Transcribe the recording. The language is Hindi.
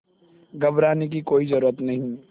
घबराने की कोई ज़रूरत नहीं